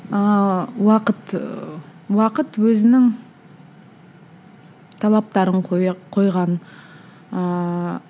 ыыы уақыт ыыы уақыт өзінің талаптарын қойған ыыы